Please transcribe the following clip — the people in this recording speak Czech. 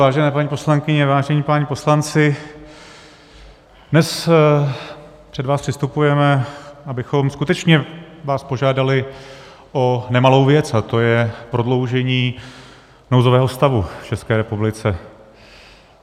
Vážené paní poslankyně, vážení páni poslanci, dnes před vás předstupujeme, abychom skutečně vás požádali o nemalou věc, a to je prodloužení nouzového stavu v České republice.